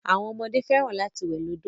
Àwọn ọmọdé fẹ́ràn lati wẹ̀ nínu òdo.